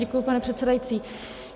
Děkuji, pane předsedající.